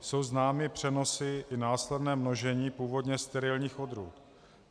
Jsou známy přenosy i následné množení původně sterilních odrůd.